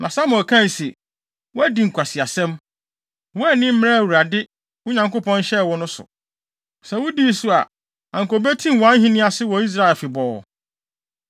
Na Samuel kae se, “Woadi nkwaseasɛm. Woanni mmara a Awurade, wo Nyankopɔn, hyɛɛ wo no so. Sɛ wudii so a, anka obetim wʼahenni ase wɔ Israel afebɔɔ.